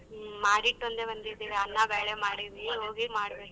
ಹ್ಮ್ ಮಾಡಿಟ್ಟೊಂದೆ ಬಂದಿದೀರ ಅನ್ನ ಬ್ಯಾಳೆ ಮಾಡೀನೀ ಈಗೋಗಿ ಮಾಡ್ಬೇಕು.